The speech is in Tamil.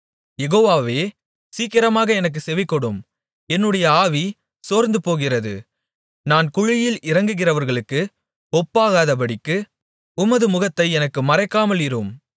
யெகோவாவே சீக்கிரமாக எனக்குச் செவிகொடும் என்னுடைய ஆவி சோர்ந்து போகிறது நான் குழியில் இறங்குகிறவர்களுக்கு ஒப்பாகாதபடிக்கு உமது முகத்தை எனக்கு மறைக்காமல் இரும்